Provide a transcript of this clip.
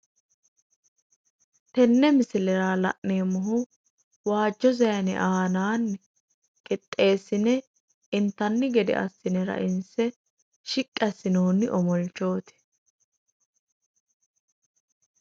tenne misilera la'neemmohu waajjo saanera aanaanni qixxeessine intanni gede assine rainsse shiqqi assinoonni omolchooti.